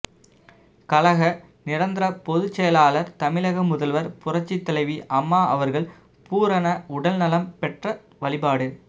கழக நிரந்தரப் பொதுச்செயலாளர் தமிழக முதல்வர் புரட்சித்தலைவி அம்மா அவர்கள் பூரண உடல் நலம் பெற்ற வழிபாடு